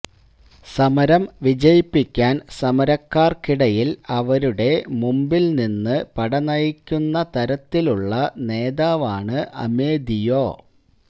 സമരം വിജയിപ്പിക്കാന് സമരക്കാര്ക്കിടയില് അവരുടെ മുമ്പില് നിന്ന്് പട നയിക്കുന്ന തരത്തിലുള്ള നേതാവാണ് അമെദിയോ